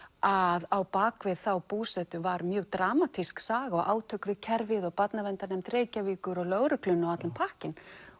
að á bak við þá búsetu var mjög dramatísk saga og átök við kerfið og Barnaverndarnefnd Reykjavíkur og lögregluna og allur pakkinn